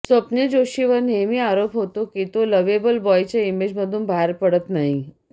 स्वप्निल जोशीवर नेहमी आरोप होतो की तो लव्हबेल बॉयच्या इमेजमधून बाहेर पडत नाही